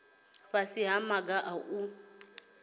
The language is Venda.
fhasi ha maga a u